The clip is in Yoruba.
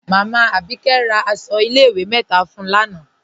Máámá Abíkẹ̀ rá àṣọ ilẹ̀-ìwé mẹ́ta fún ń lánà.